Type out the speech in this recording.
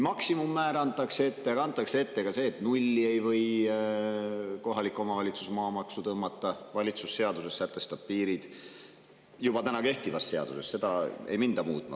Maksimummäär antakse ette, antakse ette ka see, et nulli ei või kohalik omavalitsus maamaksu tõmmata, valitsus sätestab sellele seaduses piirid – juba täna kehtivas seaduses, seda ei minda muutma.